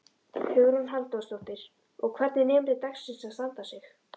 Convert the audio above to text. Hugrún Halldórsdóttir: Og hvernig er nemandi dagsins að standa sig?